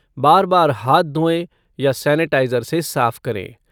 बार बार हाथ धोएँ या सेनेटाइज़र से साफ करें।